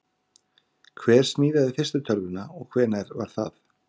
Hver smíðaði fyrstu tölvuna og hvenær var það?